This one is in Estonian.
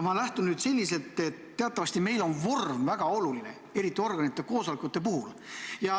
Ma lähtun sellest, et teatavasti meil on vorm väga oluline, eriti organite koosolekute puhul.